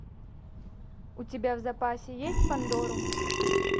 у тебя в запасе есть пандорум